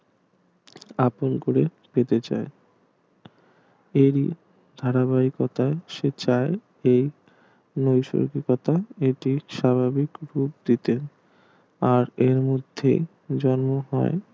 আপন করে পেতে চাই এই ধারাবাহিকতায় সে চায় যে এ টি স্বাভাবিক ওপর দিতে আর এই মধ্যে জন্ম হয়